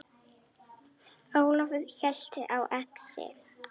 Ólafur hélt á exi.